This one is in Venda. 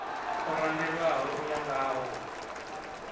o randelwaho u ya ngawo